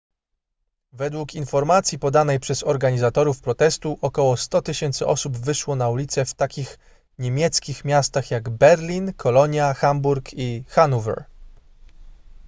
według informacji podanej przez organizatorów protestu około 100 000 osób wyszło na ulice w takich niemieckich miastach jak berlin kolonia hamburg i hanower